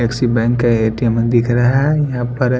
एकसी bank का ATM दिख रहा है यहाँ पर--